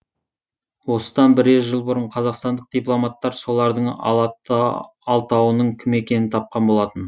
осыдан бірер жыл бұрын қазақстандық дипломаттар солардың алтауының кім екенін тапқан болатын